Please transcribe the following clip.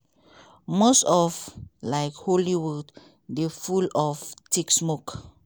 most of um hollywood dey full of thick smoke.